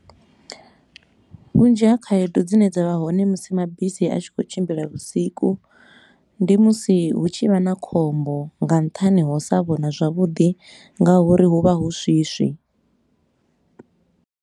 Vhunzhi ha khaedu dzine dza vha hone musi mabisi a tshi khou tshimbila vhusiku, ndi musi hu tshi vha na khombo nga nṱhani ha u sa vhona zwavhuḓi nga uri hu vha hu swiswi.